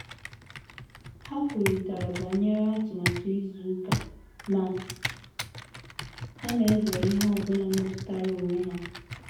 Ha kwurịtara banyere atụmatụ izu ụka ma ha na-ezere ihe ọ bụla metụtara onwe ha